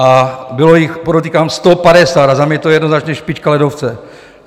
A bylo jich, podotýkám, 150, a za mě je to jednoznačně špička ledovce.